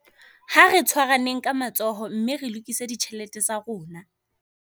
Ha re tshwaraneng ka matsoho mme re lokise ditjhelete tsa rona